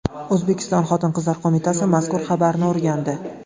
O‘zbekiston Xotin-qizlar qo‘mitasi mazkur xabarni o‘rgandi .